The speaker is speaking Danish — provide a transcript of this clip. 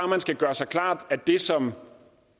man skal gøre sig klart at det som